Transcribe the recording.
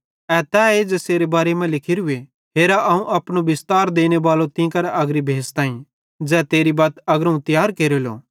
ए तैए ज़ेसेरे बारे मां लिखोरूए हेर अवं अपनो बिस्तार देनेबालो तीं अग्रीअग्री भेज़ताईं ज़ै तेरी बत्त अग्रोवं तियार केरेलो